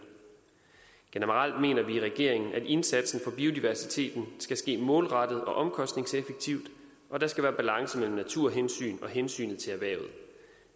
generelt mener vi i regeringen at indsatsen for biodiversiteten skal ske målrettet og omkostningseffektivt og der skal være balance mellem naturhensyn og hensyn til erhvervet